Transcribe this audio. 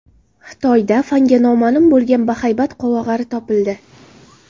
Xitoyda fanga noma’lum bo‘lgan bahaybat qovog‘ari topildi.